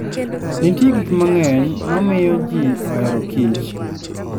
Nitie gik mang'eny ma miyo ji ohero kich.